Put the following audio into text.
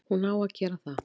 Hún á að gera það.